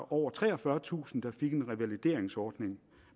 over treogfyrretusind der fik en revalideringsordning